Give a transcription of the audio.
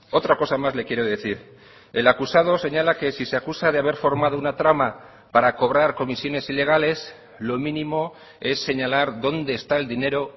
otra cosa más le quiero decir el acusado señala que si se acusa de haber formado una trama para cobrar comisiones ilegales lo mínimo es señalar dónde está el dinero